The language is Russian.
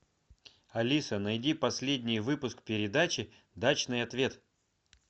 алиса найди последний выпуск передачи дачный ответ